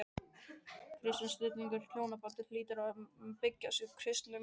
Kristinn skilningur á hjónabandinu hlýtur að byggjast á kristnum mannskilningi.